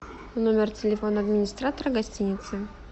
номер телефона администратора гостиницы